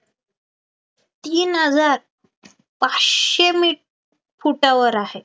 तीन हजार पाचशे मीट फुटावर आहे,